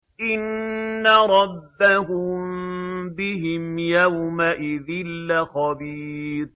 إِنَّ رَبَّهُم بِهِمْ يَوْمَئِذٍ لَّخَبِيرٌ